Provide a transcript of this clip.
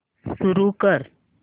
सुरू कर